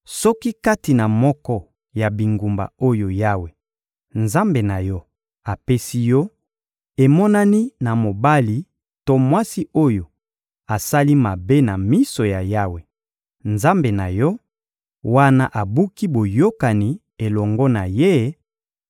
Soki kati na moko ya bingumba oyo Yawe, Nzambe na yo, apesi yo; emonani na mobali to mwasi oyo asali mabe na miso ya Yawe, Nzambe na yo, wana abuki boyokani elongo na Ye